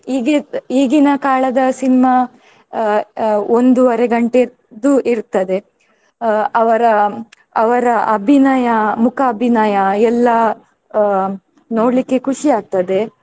ಈಗಿದ್~ ಈಗಿನ ಕಾಲದ cinema ಅಹ್ ಅಹ್ ಒಂದೂವರೆ ಗಂಟೆದ್ದು ಇರ್ತದೆ. ಅಹ್ ಅವರ ಅವರ ಅಭಿನಯ ಮೂಕಾಭಿನಯ ಎಲ್ಲಾ ಅಹ್ ನೋಡ್ಲಿಕ್ಕೆ ಖುಷಿಯಾಗ್ತದೆ.